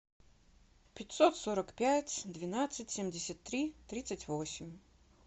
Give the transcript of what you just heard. пятьсот сорок пять двенадцать семьдесят три тридцать восемь